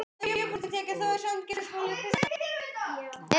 Hilmar og Katla.